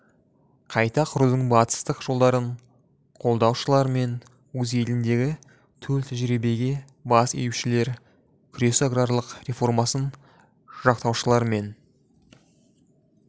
қайта құрудың батыстық жолдарын қолдаушылар мен өз еліндегі төл тәжірибеге бас июшілер күресі аграрлық реформасын жақтаушылар мен